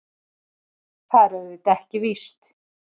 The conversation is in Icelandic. Það er auðvitað ekki víst.